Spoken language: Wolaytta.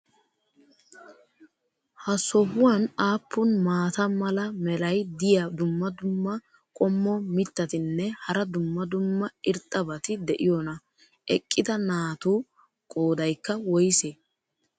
ha sohuwan aappun maata mala meray diyo dumma dumma qommo mitattinne hara dumma dumma irxxabati de'iyoonaa? eqqida naatu qoodaykka woysee?